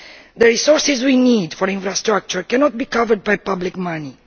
The resources we need for infrastructure cannot be covered by public money.